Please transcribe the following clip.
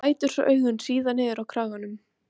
Staðan var vonlaus, það var ekkert hægt að segja.